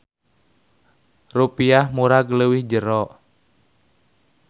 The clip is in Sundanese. Rupiah murag leuwih jero.